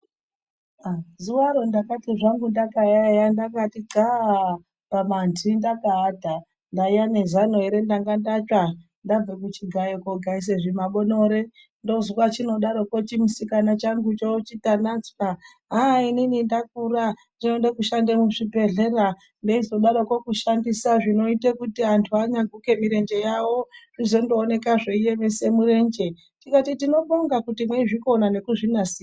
Zuwaro ndakati zvangu ndakati xlaa pamanhi ndakaata ndaiya nezano ere ndanga ndatsva ndabva kuchigayo kogaisa zvimanonere ndonzwa chinodaroko chimusikana changucho Tanatsva haa inoni ndakura ndoda kushanda muzvibhehlera ndeizidaroko kushandisa zvinoita kuti vantu vanyagila mirenje yavo zvino zooneka zveiemesa murenje tikati tinobonga kuti meizvikona nekuzvinasira.